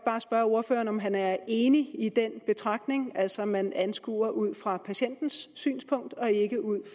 spørge ordføreren om han er enig i den betragtning altså at man skal anskue det ud fra patientens synspunkt og ikke ud